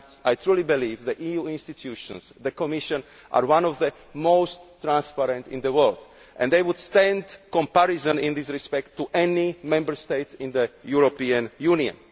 I truly believe that the EU institutions and the Commission are among the most transparent in the world. They would stand comparison in this respect to any Member State in the European Union.